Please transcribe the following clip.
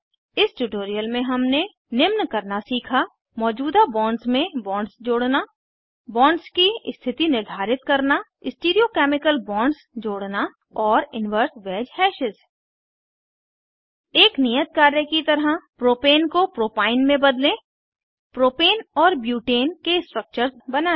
इस ट्यूटोरियल में हमने निम्न करना सीखा मौजूदा बॉन्ड्स में बॉन्ड्स जोड़ना बॉन्ड्स की स्थिति निर्धारित करना स्टीरियो केमिकल बॉन्ड्स जोड़ना और इनवर्स वैज हैशेस एक नियत कार्य की तरह प्रोपेन को प्रोपाइन में बदलें प्रोपेन और ब्यूटेन के स्ट्रक्चर्स बनायें